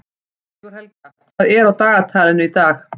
Sigurhelga, hvað er á dagatalinu í dag?